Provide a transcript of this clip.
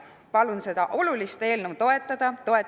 Palun seda olulist eelnõu toetada!